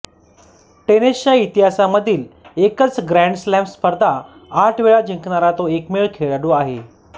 टेनिसच्या इतिहासामधील एकच ग्रँड स्लॅम स्पर्धा आठ वेळा जिंकणारा तो एकमेव खेळाडू आहे